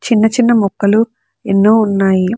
చిన్న చిన్న మొక్కలు ఎన్నో ఉన్నాయి.